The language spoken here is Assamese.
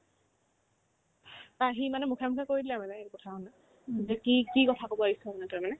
তাৰ সি মানে মুখে মুখে কৈ দিলে আৰু এনেকে কি কথা হ'ল নে বোলে কি কি কথা ক'ব আহিছ বোলে তই মানে